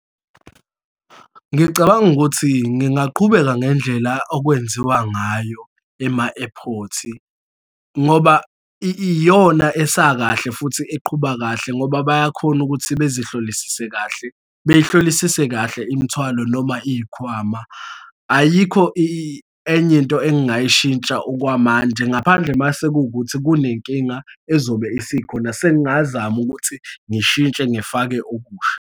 Ngicabanga ukuthi ngingaqhubeka ngendlela okwenziwa ngayo ema-airport-i, ngoba iyona esakahle futhi eqhuba kahle ngoba bayakhona ukuthi bezihlolisise kahle, beyihlolisise kahle imithwalo noma iy'khwama. Ayikho enye into engingayishintsha okwamanje, ngaphandle uma sekuwukuthi kunenkinga ezobe isikhona, sengazama ukuthi ngishintshe ngifake okusha.